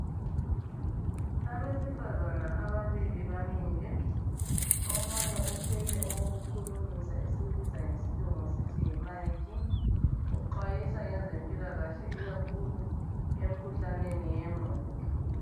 Abesifazane ababili bamile omunye uthwele okukhulumisa esikubiza ngesilungu sithi yi mic. Uxwayisa ngezempilakahle ikakhulu emkhuhlaneni yengqondo